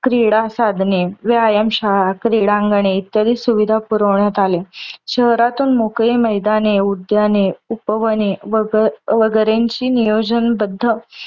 क्रीडा साधने, व्यायाम शाळा, क्रीडांगणे इत्यादी सुविधा पुरवण्यात आल्या. शहरातून मोकळी मैदाने, उद्याने, उपवने वग वगैरेची नियोजन बद्ध